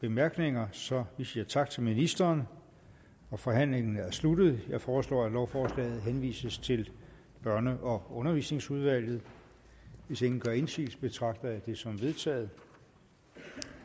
bemærkninger så vi siger tak til ministeren forhandlingen er sluttet jeg foreslår at lovforslaget henvises til børne og undervisningsudvalget hvis ingen gør indsigelse betragter jeg det som vedtaget